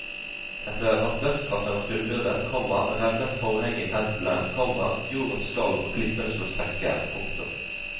Etter at dødsstraffen var fullbyrdet, komma revnet forhenget i templet, komma jorden skalv og klippene slo sprekker. punktum